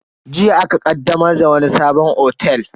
Jiya aka ƙaddamar da wani sabon otel.